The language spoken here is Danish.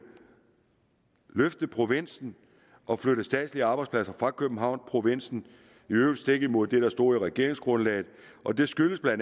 løfte provinsen og flytte statslige arbejdspladser fra københavn til provinsen i øvrigt stik imod det der stod i regeringsgrundlaget og det skyldtes bla